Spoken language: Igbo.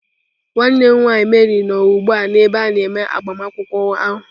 Nwanne m nwaanyị Mary nọ ugbu a n'ebe a na-eme agbamakwụkwọ ahụ.